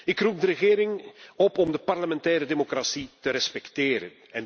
Ik roep de regering op om de parlementaire democratie te respecteren.